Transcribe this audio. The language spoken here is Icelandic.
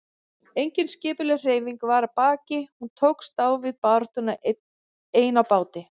Engin skipulögð hreyfing var að baki, hún tókst á við baráttuna ein á báti.